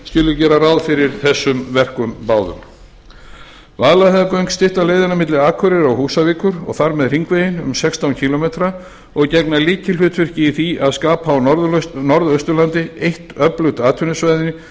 skuli gera ráð fyrir þessum verkum báðum vaðlaheiðargöng stytta leiðina milli akureyrar og húsavíkur og þar með hringveginn um sextán kílómetra og gegna lykilhlutverki í því að skapa á norðausturlandi eitt öflugt atvinnusvæði